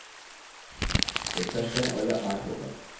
refresh करें और यह 8 होगा